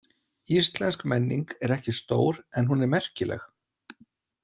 Íslensk menning er ekki stór en hún er merkileg.